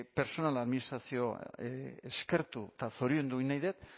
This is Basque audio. pertsonal administrazioa eskertu eta zoriondu egin nahi dut